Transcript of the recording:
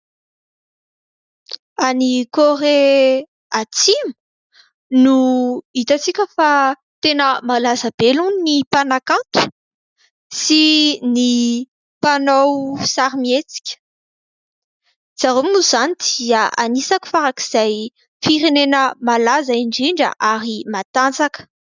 Any Korea Atsimo no hitantsika fa tena malaza be aloha ny mpanakanto sy ny mpanao sarimihetsika, zareo moa izany dia anisan'ny farak' izay firenena malaza indrindra ary matanjaka.